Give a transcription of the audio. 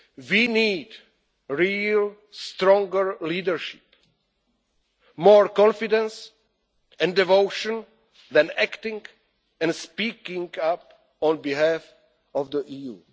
We need real, stronger leadership, more confidence and devotion when acting and speaking up on behalf of the